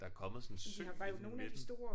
Der er kommet sådan en sø inde i midten